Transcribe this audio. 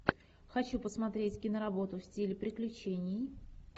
хочу посмотреть киноработу в стиле приключений